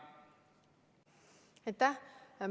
Aitäh!